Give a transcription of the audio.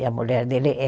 E a mulher dele é